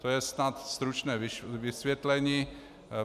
To je snad stručné vysvětlení.